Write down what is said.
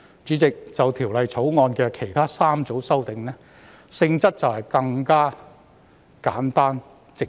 主席，就《條例草案》的其他3組修訂，性質更簡單、直接。